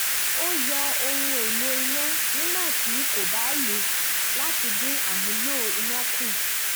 ó yọ ohun èlò iná nígbà tí kò bá lò láti dín amúlò iná kù